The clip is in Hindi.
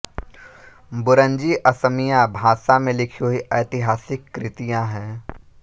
बुरंजी असमिया भाषा में लिखी हुईं ऐतिहासिक कृतियाँ हैं